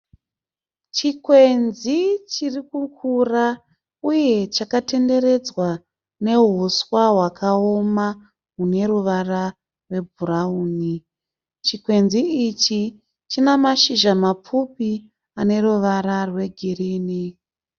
Chikwenzi chiri kukura uye chakatenderedzwa nehuswa hwakaoma hune ruvara rwebhurauni. Chikwenzi ichi china mashizha mapfupi ane ruvara rwegirini.